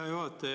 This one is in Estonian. Hea juhataja!